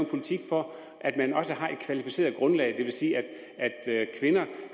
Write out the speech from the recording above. politik for at man også har et kvalificeret grundlag det vil sige at kvinder